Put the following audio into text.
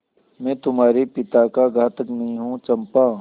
मैं तुम्हारे पिता का घातक नहीं हूँ चंपा